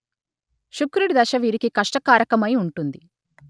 శుక్రుడి దశ వీరికి కష్టకారకమై ఉంటుంది